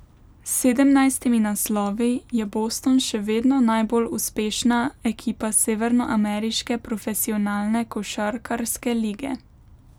S sedemnajstimi naslovi je Boston še vedno najbolj uspešna ekipa severnoameriške profesionalne košarkarske lige.